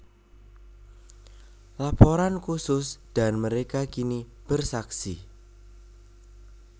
Laporan Khusus Dan Mereka Kini Bersaksi